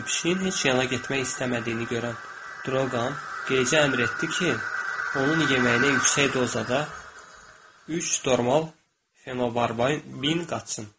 Pişiyin heç yola getmək istəmədiyini görən Droqan Qeyçiyə əmr etdi ki, onun yeməyinə yüksək dozada üç normal fenobarbital qatsın.